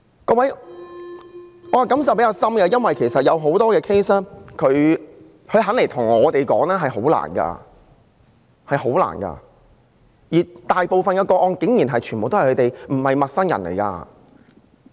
各位，我的感受比較深，因為很多個案的事主願意向我們說出經歷，這是十分困難的，而大部分個案中，施虐者竟然全都不是陌生人。